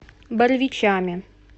боровичами